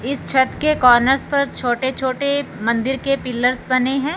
इस छत के कॉर्नर्स पर छोटे छोटे मंदिर के पिलर्स बने हैं।